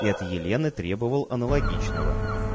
и от елены требовал аналогичного